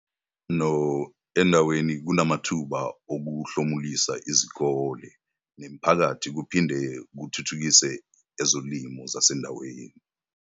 .no endaweni kunamathuba okuhlomulisa izikole nemiphakathi kuphin de kuthuthukise ezolimo zasendaweni.